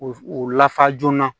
O lafa joona